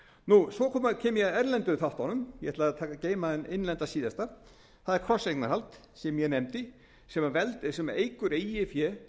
kem ég að erlendu þáttunum ég ætla að geyma hinn innlenda síðasta það er krosseignarhald sem ég nefndi sem eykur eigin fé